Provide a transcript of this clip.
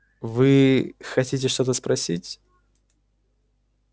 вы хотите что-то спросить